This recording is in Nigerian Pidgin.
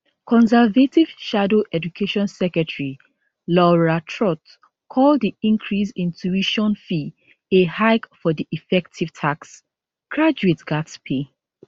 conservative shadow education secretary laura trott call di increase in tuition fee a hike for di effective tax graduates gatz pay